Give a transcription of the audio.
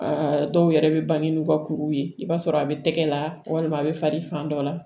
Aa dɔw yɛrɛ bɛ bange n'u ka kuruw ye i b'a sɔrɔ a bɛ tɛgɛ la walima a bɛ fali fan dɔ la